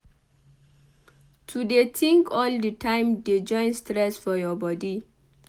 To dey tink all di time dey join stress for your bodi.